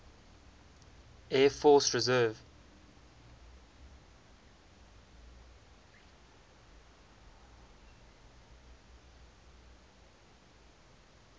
air force reserve